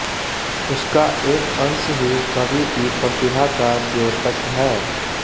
उसका एक अंश ही कवि की प्रतिभा का द्योतक है